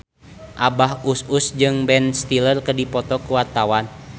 Abah Us Us jeung Ben Stiller keur dipoto ku wartawan